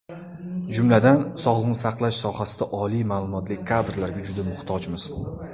Jumladan, sog‘liqni saqlash sohasida oliy ma’lumotli kadrlarga juda muhtojmiz.